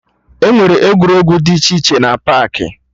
Enwere egwuregwu dị iche iche na paakị